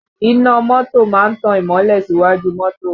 Iná mọ́tò máa ń tan ìmọ́lẹ̀ síwájú mọ́tò